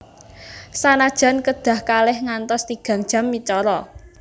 Sanajan kedah kalih ngantos tigang jam micara